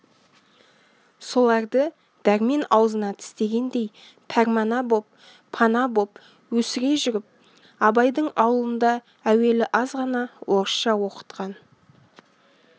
соларды дәрмен аузына тістегендей пәрмана боп пана боп өсіре жүріп абайдың аулында әуелі азғана орысша оқытқан